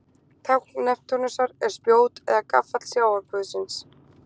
Tákn Neptúnusar er spjót eða gaffall sjávarguðsins.